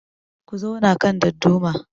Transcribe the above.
Ku zauna kan dadduma